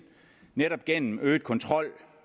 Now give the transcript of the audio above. netop gennem øget kontrol